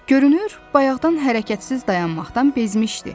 Görünür, bayaqdan hərəkətsiz dayanmaqdan bezmişdi.